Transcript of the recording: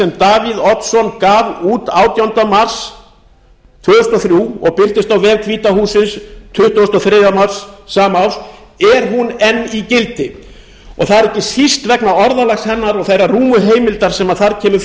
sem davíð oddsson gaf út átjánda mars tvö þúsund og þrjú og birtist á vef hvíta hússins tuttugasta og þriðja mars sama ár enn í gildi það er ekki síst vegna orðalags hennar og þeirrar rúmu heimildar sem þar kemur